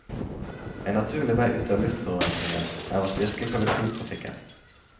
En naturlig vei ut av luftforurensingen er å styrke kollektivtrafikken.